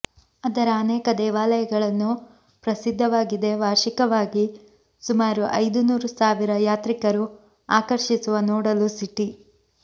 ಅದರ ಅನೇಕ ದೇವಾಲಯಗಳನ್ನು ಪ್ರಸಿದ್ಧವಾಗಿದೆ ವಾರ್ಷಿಕವಾಗಿ ಸುಮಾರು ಐದು ನೂರು ಸಾವಿರ ಯಾತ್ರಿಕರು ಆಕರ್ಷಿಸುವ ನೋಡಲು ಸಿಟಿ